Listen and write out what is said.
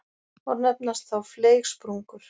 og nefnast þá fleygsprungur.